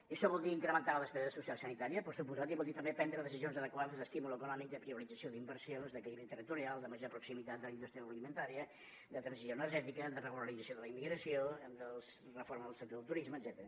i això vol dir incrementar la despesa social sanitària per descomptat i vol dir també prendre decisions adequades d’estímul econòmic de priorització d’inversions d’equilibri territorial de major proximitat de la indústria agroalimentària de transició energètica de regularització de la immigració de reforma del sector del turisme etcètera